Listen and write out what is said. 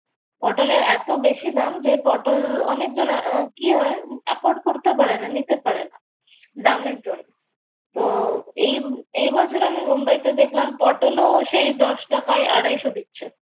পটলের এত বেশি দাম যে অনেকজনের আহ কি হয় afford করতে পারে না। নিতে পারে না দামের জন্য। উহ এ এবছর আমি মুম্বাইতে দেখলাম পটলও সেই দশ টাকায় আড়াইশো দিচ্ছে।